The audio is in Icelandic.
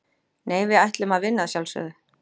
Nei, við ætlum að vinna að sjálfsögðu.